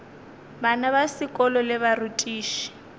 bana ba sekolo le barutiši